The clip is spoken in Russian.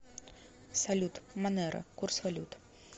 салют монеро курс валют